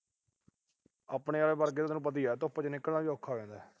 ਆਪਣੇ ਆਲੇ ਵਰਗਿਆਂ ਦਾ ਤਾਂ ਤੈਨੂੰ ਪਤਾ ਈ ਆ ਵੀ ਧੁੱਪ ਚ ਨਿਕਲਣਾ ਵੀ ਔਖਾ ਹੋ ਜਾਂਦਾ।